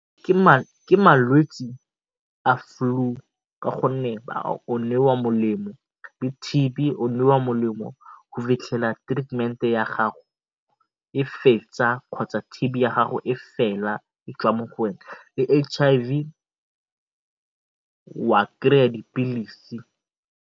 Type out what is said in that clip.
Ke malwetse a flu ka gonne o newa molemo. T_B o newa molemo go fitlhela treatment ya gago e fetsa kgotsa T_B ya gago e fela e tswa mo go wena. Le H_I_V wa dipilisi.